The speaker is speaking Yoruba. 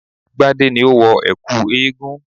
Gbadé ni ó wọ ẹ̀kú eégún